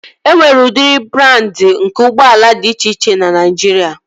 E nwere udiri brandị nke ụgbọala dị iche iche na Naijiria